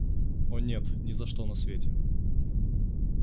о нет ни за что на свете